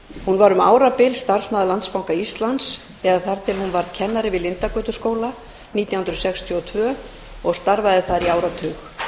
hún var um árabil starfsmaður landsbanka íslands eða þar til hún varð kennari við lindargötuskóla nítján hundruð sextíu og tvö og starfaði þar í áratug